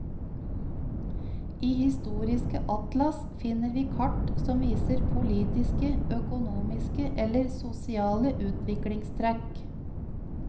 I historiske atlas finner vi kart som viser politiske, økonomiske eller sosiale utviklingstrekk.